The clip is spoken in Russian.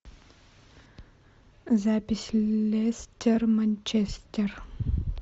запись лестер манчестер